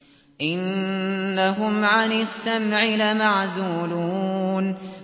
إِنَّهُمْ عَنِ السَّمْعِ لَمَعْزُولُونَ